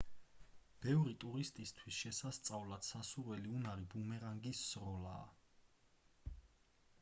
ბევრი ტურისტისთვის შესასწავლად სასურველი უნარი ბუმერანგის სროლაა